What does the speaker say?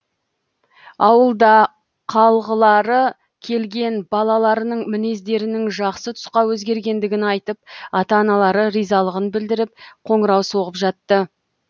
ауылда қалғылары келген балаларының мінездерінің жақсы тұсқа өзгергендігін айтып ата аналары ризалығын білдіріп қоңырау соғып жатты